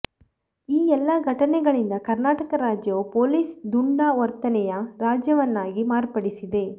ಈ ಎಲ್ಲ ಘಟನೆಗಳಿಂದ ಕರ್ನಾಟಕ ರಾಜ್ಯವು ಪೊಲೀಸ್ ದುಂಡಾ ವರ್ತನೆಯ ರಾಜ್ಯವನ್ನಾಗಿ ಮಾರ್ಪಡಿಸಿದೆ